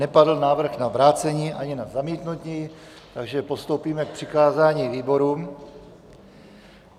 Nepadl návrh na vrácení ani na zamítnutí, takže postoupíme k přikázání výborům.